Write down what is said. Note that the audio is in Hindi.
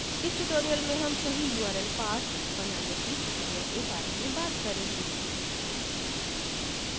इस tutorial में हम सही url paths बनाने की प्रक्रिया के बारे में बात करेंगे